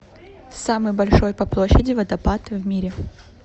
самый большой по площади водопад в мире